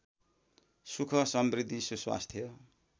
सुख समृद्धि सुस्वास्थ्य